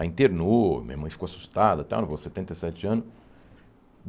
Aí internou, minha mãe ficou assustada, tal, não vou, setenta e sete anos.